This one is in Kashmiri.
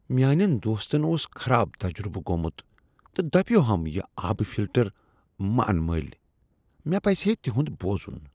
میانِین دوستن اوس خراب تجربہٕ گوومُت تہٕ دپیوہم یہ آبہٕ فلٹر ما اَن مٔلۍ۔ مےٚ پَزِہا تِہُند بوزُن ۔